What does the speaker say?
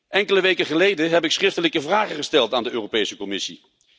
Enkele weken geleden heb ik schriftelijke vragen gesteld aan de Europese Commissie.